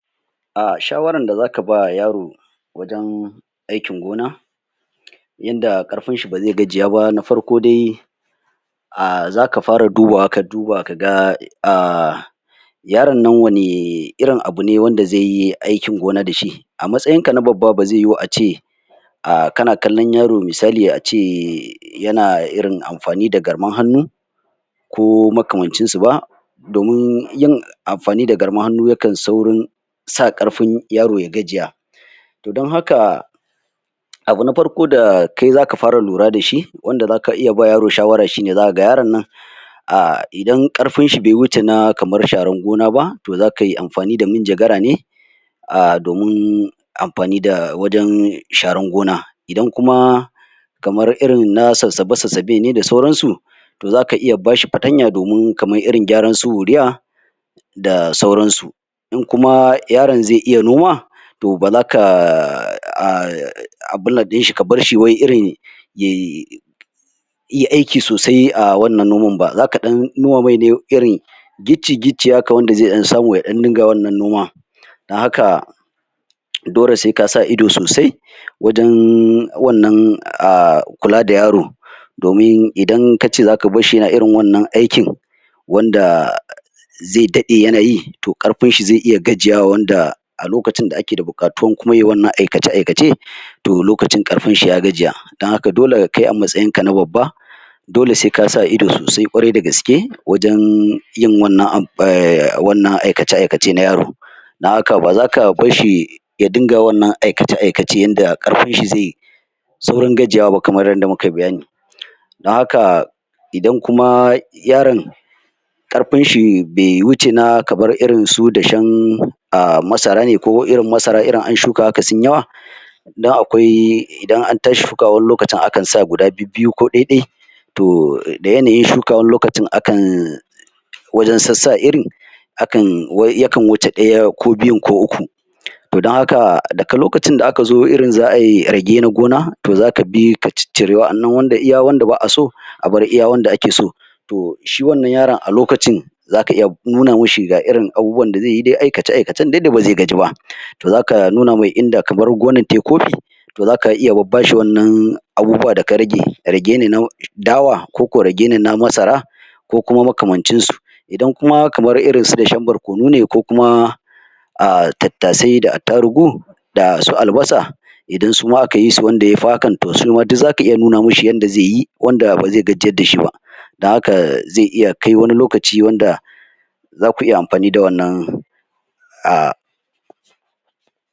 A shawaran da zaka ba yaro wajen aikin gona yanda karfin shi bazai gajiya ba na farko dai a zaka fara dubawa ka duba kaga a yaron nan wane irin abune wanda zaiyi aikin gona da shi a matsayinka na babba ba zai yiwu ace a kana kallon yaro misali ace yana irin amfani da garman hannu ko makamancin su ba domin yin amfani da garman ahnnu yakan saurin sa karfin yaro ya gajiya to don haka abu na farko da kai zaka fara lura dashi wanda zaka iya ba yaro shawara shine zaka ga yaron nan a idan karfin shi bai wuce kamar na sharan gona ba to zakai amfani da munjagara ne ah domin amfani da wajen sharan gona idan kuma kamar irin kuma na sassabe sassabe ne da sauran su to zaka iya bashi fatanya domin kamar irin kyaran su uriya da sauran su in kuma yaron zai iya noma to bazaka abinnan din shi kabar shi wai irin yayi yi aiki sosai ah wannan noman ba zaka dan nuna mai ne irin gicci gicci wanda zai dan samu ya dan dinga wannan noma da haka dole sai kasa ido sosai wajen wannan ah kula da yaro domin idan kace zaka barshi yana irin wannan aikin wanda zai dade yanayi to karfin shi yana iya gajiyawa wanda a lokacin kuma da ake da bukatuwar kuma yayi wannan aikace aikace to lokacin kafinci ya gajiya don haka kai a matsayin ka na babba dole sai kasa ido kwarai da gaske wajen yin wannan aikace aikacen na yaro don haka ba zaka barshi ya din wannan aikace aikace yanda karfin shi zai saurin gajiyawa ba kamar yanda mu kayi bayani don haka idan kuma yaron karfin shi bai wuce na kamar irin su na dashen ah masara ne irin masara irin an shuka haka sunyi yawa sannan akwai idan an tashi shuka haka akan sa guda biyu ko dai dai to da yanayin shuka wani lokacin akan wajen sassa irin hakan yakan wuce daya ko biyu ko ukku to don haka likacin da aka zo irin za'ai rage na gona to zaka bi ka ciccire wadannan iya wadanda ba'a so abar iya wanda ake so to shi wannan yaron a lokacin zaka iya nuna mashi ga irin abubuwan da zaiyi dai aikace aikace da bazai gaji bah to zaka nuna mai inda kamar gonar tayi kofi to zaka iya bashi wannan abubuwa daka rage rage ne dawa ko ko rage ne na masara ko kuma makamanicin su idan kuma kamar irin su dashen barkono ne ko kuma ah tattasai da attarugu da su albasa idan suma akayi su yafi hakan to shima duk zaka iya nuna mashi yanda zaiyi wanda bazai gajiyar dashi bah da haka zai iya kai wani lokaci wanda zaku iya amfani da wannan ah